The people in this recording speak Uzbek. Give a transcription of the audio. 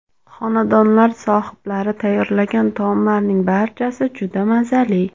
Xonadonlar sohiblari tayyorlagan taomlarning barchasi juda mazali.